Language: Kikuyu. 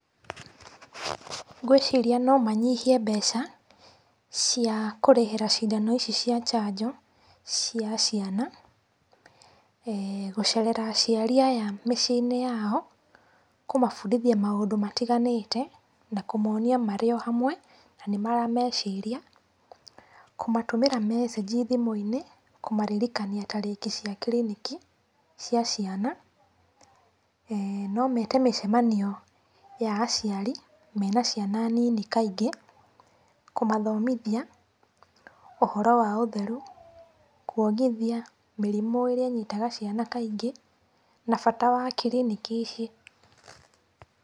Ngwĩciria no manyihie mbeca cia kũrĩhĩra ciindano ici cia njanjo cia ciana,e gũcerera aciari aya mĩciĩinĩ yao kũmabundithia maũndũ matiganĩte na kũmonia marĩ o hamwe, na ni marameciria. Kũmatũmĩra meceji thiũinĩ kũmaririkania tariki cia kiriniki cia ciana. No mete mĩcemaio ya aciari mena ciana nini kaingĩ kũmathomithia ũhoro wa ũtheru, kuongithia, mĩrĩmũ ĩrĩa ĩnyitaga ciana kaingĩ na bata wa kiriniki ici.